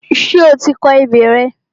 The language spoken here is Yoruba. Ṣé o ti kọ ebè rẹ?